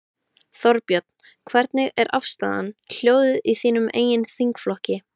Þorbjörn: Hvernig er afstaðan, hljóðið í þínum eigin þingflokki?